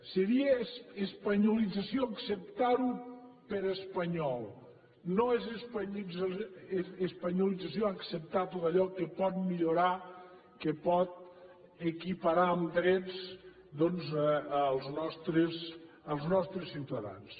seria espanyolització acceptar ho per espanyol no és espanyolització acceptar tot allò que pot millorar que pot equiparar en drets doncs els nostres ciutadans